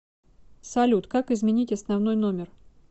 салют как изменить основной номер